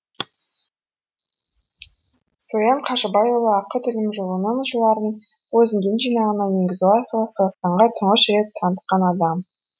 соян қажыбайұлы ақыт үлімжіұлының жырларын бозіңген жинағына енгізу арқылы қазақстанға тұңғыш рет танытқан адам